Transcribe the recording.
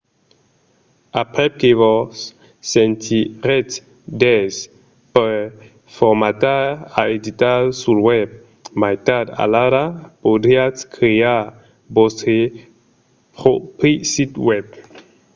aprèp que vos sentiretz d'aise per formatar e editar sul web mai tard alara podriatz crear vòstre pròpri sit web